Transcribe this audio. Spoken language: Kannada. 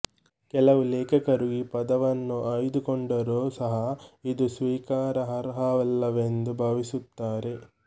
ಕೆಲವು ಲೇಖಕರು ಈ ಪದವನ್ನು ಆಯ್ದುಕೊಂಡರೂ ಸಹ ಇದು ಸ್ವೀಕಾರಾರ್ಹವಲ್ಲವೆಂದು ಭಾವಿಸುತ್ತಾರೆ